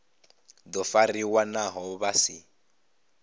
do fariwa naho vha si